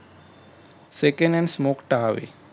second hand smoke टाळावे